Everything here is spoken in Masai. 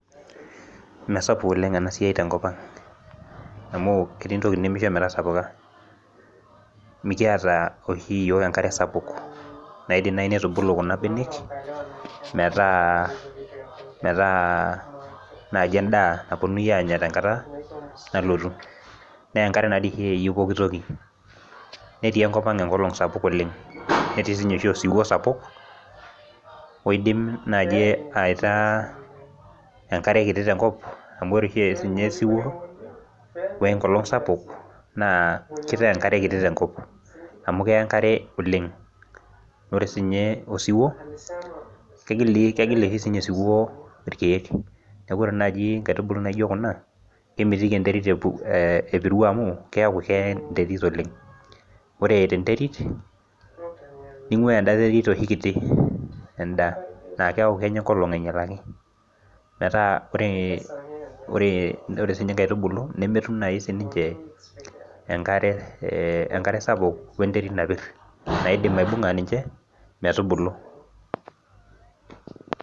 Mesapuk oleng ena siai tenkop ang amu etii intokitin nemisho metasapuka mikiata oshi iyiok enkare sapuk naidim naaji nitubulu kuna benek metaa, metaa naaji endaa naponunui anya tenkata nalotu nenkare naa dii oshi eyieu pokitoki netii enkop ang enkolong sapuk oleng netii siinye oshi osiwuo sapuk oidim naaji aitaa enkare kiti tenkop amu ore oshi esinye osiwuo wenkolong sapuk naa kitaa enkare kiti tenkop amu keya enkare oleng ore sinye osiwuo kegili kegil oshi sinye osiwuo irkeek neku ore naaji inkaitubulu naijio kuna kemitiki enterit epu epiru amu keeku keya enterit oleng ore eeta enterit ning'ua enda terit oshi enda naa keeku kenya enkolong ainyialaki metaa ore ore sinye inkairtubulu nemetum naaji sininche enkare eh enkare sapuk wenterit napirr naidim aibung'a ninche metubulu.